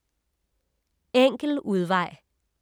Enkel udvej